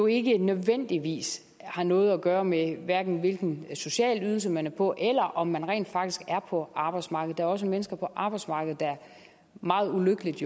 ikke nødvendigvis har noget at gøre med hverken hvilken social ydelse man er på eller om man rent faktisk er på arbejdsmarkedet der er også mennesker på arbejdsmarkedet der jo meget ulykkeligt